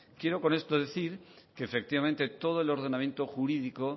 quiero con esto decir que efectivamente todo el ordenamiento jurídico